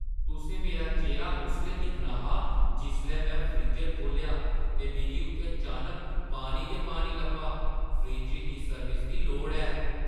तुसें मेरा चेह्‌रा उसलै दिक्खना हा जिसलै में फ्रीजर खोह्‌लेआ ते मिगी उत्थै चानक पानी गै पानी लब्भा। फ्रिज्जै गी सर्विस दी लोड़ ऐ।